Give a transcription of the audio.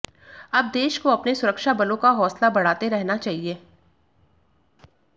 अब देश को अपने सुरक्षा बलों का हौसला बढ़ाते रहना चाहिए